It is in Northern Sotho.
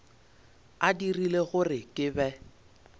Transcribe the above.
a dirile gore ke be